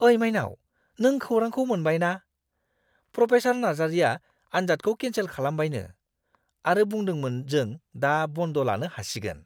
ओइ माइनाव, नों खौरांखौ मोनबाय ना? प्रफेसार नार्जारिया आन्जादखौ केनसेल खालामबायनो आरो बुंदोंमोन जों दा बन्द लानो हासिगोन!